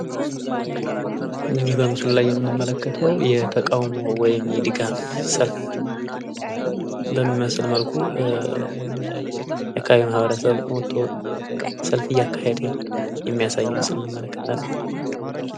ይህ በምስሉ ላይ የምንመለከተው የተቃወሞ ወይም የድጋፍ ሰልፍ በሚመስል መልኩ የአካባቢው ማህበረሰብ ወቶ ሰልፍ እያካሄደ የሚያሳይ ምስል እንመለከታለን።